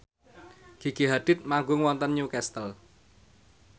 Gigi Hadid manggung wonten Newcastle